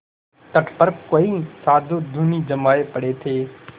तट पर कई साधु धूनी जमाये पड़े थे